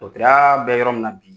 Dɔtɔrɔya bɛ yɔrɔ min na bi.